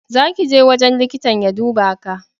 Za ki je wajen liƙitan ya duba Ka!